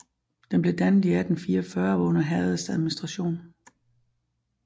Den blev dannet i 1844 og var under herredets administration